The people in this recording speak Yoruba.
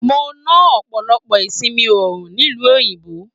Mo na ọpọlọpọ ìsinmi oòrùn nílu òyìnbó.